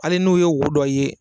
Hali n'o ye wo dɔ ye